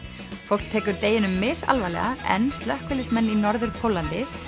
fólk tekur deginum misalvarlega en slökkviliðsmenn í Norður Póllandi